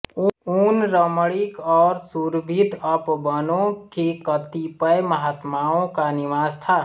उन रमणीक और सुरभित उपबनों के कतिपय महात्माओं का निवास था